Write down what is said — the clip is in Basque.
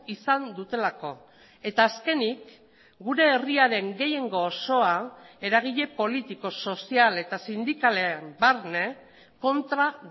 izan dutelako eta azkenik gure herria den gehiengo osoa eragile politiko sozial eta sindikaleen barne kontra